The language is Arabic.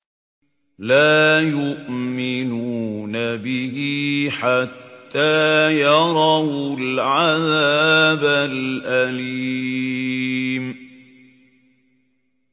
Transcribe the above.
لَا يُؤْمِنُونَ بِهِ حَتَّىٰ يَرَوُا الْعَذَابَ الْأَلِيمَ